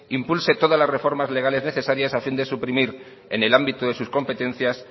impulse todas las reformas legales necesarias a fin de suprimir en el ámbito de sus competencias